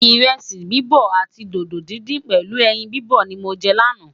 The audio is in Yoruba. iresi bibọ àti dodo dindin pèlú ẹyìn bibọ ní mọ jẹ lana